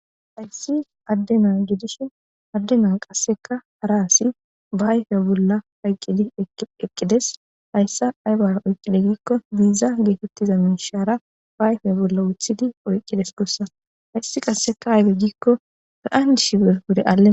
hayssi addena gidishin addena qasseka hara asi baayfeya bolla payqqidi eqqides hayssa aybara oyqqide giikko diiza geetettiza munshaara baayfeya bolla wuthidi oyqqides gussa hayssi qasseka ayfe giikko be7an dishi ber wure alle